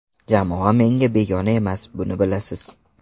Jamoa menga begona emas, buni bilasiz.